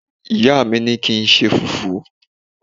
ìyá mi ni ki nṣe fufu